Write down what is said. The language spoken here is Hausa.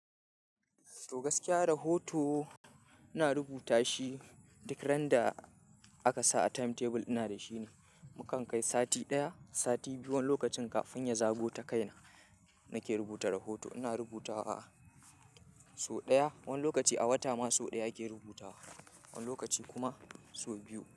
To gaskiya rahoto, ina rubuta shi duk ran da aka sa a timetable ina da shi ne. Mukan kai sati ɗaya, sati biyu wani lokacin kafin ya zago ta kaina nake rubuta rahoto. Ina rubutawa, so ɗaya wani lokaci a wata ma so ɗaya ake rubutawa. Wani lokaci kuma so biyu.